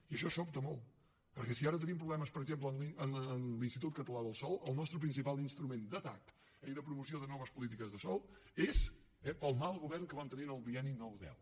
i això sobta molt perquè si ara tenim problemes per exemple a l’institut català del sòl el nostre principal instrument d’atac i de promoció de noves polítiques de sòl és pel mal govern que vam tenir en el bienni nou deu